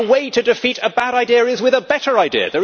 The way to defeat a bad idea is with a better idea.